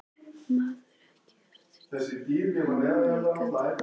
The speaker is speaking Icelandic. Manstu ekki eftir því hvað ég sagði við þig?